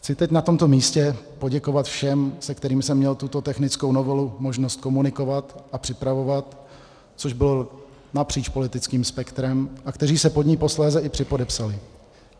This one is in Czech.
Chci teď na tomto místě poděkovat všem, se kterými jsem měl tuto technickou novelu možnost komunikovat a připravovat, což bylo napříč politickým spektrem, a kteří se pod ni posléze i připodepsali.